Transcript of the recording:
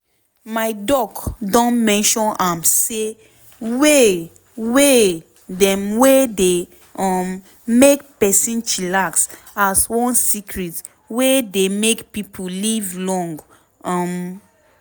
my doc don mention am say way way dem wey dey um make person chillax as one secret wey dey make pipo live long. um